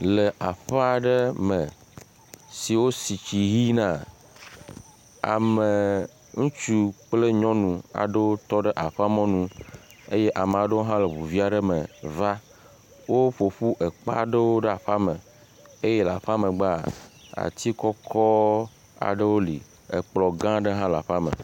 Le aƒe aɖe me si wosi tsi ʋi na, ame ŋutsu kple nyɔnu aɖewo tɔ ɖe aƒe mɔnu eye ame aɖewo hã le ŋu vi aɖe me va. Woƒo ƒu kpe aɖewo ɖe aƒea me eye le aƒea megbea, ati kɔkɔ aɖewo li. Ekplɔ̃ gã aɖe hã le aƒea me.